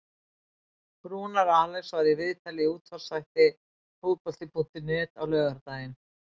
Rúnar Alex var í viðtali í útvarpsþætti Fótbolta.net á laugardaginn.